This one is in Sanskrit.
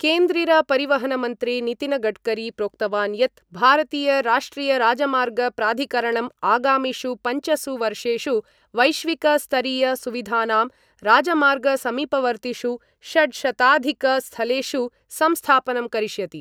केन्द्रीरपरिवहनमन्त्री नितिनगडकरी प्रोक्तवान् यत् भारतीयराष्ट्रियराजमार्गप्राधिकरणं आगामिषु पंचसु वर्षेषु वैश्विक स्तरीय सुविधानां राजमार्गसमीपवर्तिषु षट्शताधिकस्थलेषु संस्थापनं करिष्यति